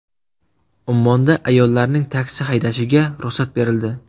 Ummonda ayollarning taksi haydashiga ruxsat berildi.